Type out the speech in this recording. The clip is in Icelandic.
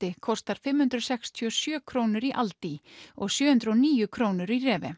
kostar fimm hundruð sextíu og sjö krónur í aldi og sjö hundruð og níu krónur í